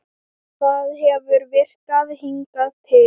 Það hefur virkað hingað til.